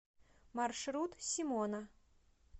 маршрут симона